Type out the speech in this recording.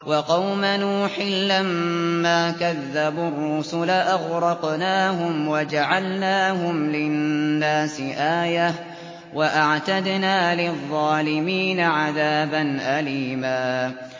وَقَوْمَ نُوحٍ لَّمَّا كَذَّبُوا الرُّسُلَ أَغْرَقْنَاهُمْ وَجَعَلْنَاهُمْ لِلنَّاسِ آيَةً ۖ وَأَعْتَدْنَا لِلظَّالِمِينَ عَذَابًا أَلِيمًا